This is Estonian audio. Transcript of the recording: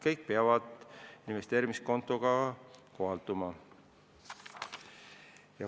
Kõik see peab investeerimiskontoga kohalduma.